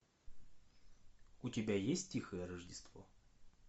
у тебя есть тихое рождество